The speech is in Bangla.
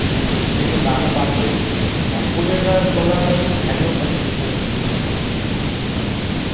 উম জিনিসের দাম ও বাড়ছে আর তদের আ তরা তেমনি value ও পাচ্ছিস না জিনিসটার মধ্যে